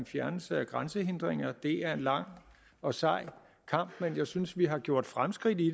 fjernelse af grænsehindringer det er en lang og sej kamp men jeg synes vi har gjort fremskridt i